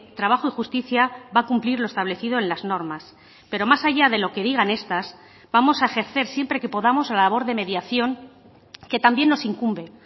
trabajo y justicia va a cumplir lo establecido en las normas pero más allá de lo que digan estas vamos a ejercer siempre que podamos la labor de mediación que también nos incumbe